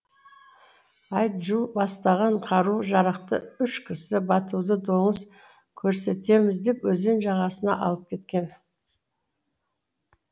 айджу бастаған қару жарақты үш кісі батуды доңыз көрсетеміз деп өзен жағасына алып кеткен